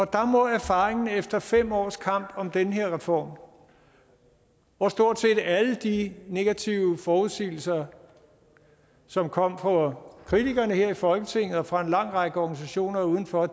der må erfaringen efter fem års kamp om den her reform hvor stort set alle de negative forudsigelser som kom fra kritikerne her i folketinget og fra en lang række organisationer udenfor er